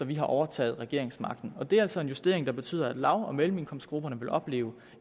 vi har overtaget regeringsmagten og det er altså en justering der betyder at lav og mellemindkomstgrupperne vil opleve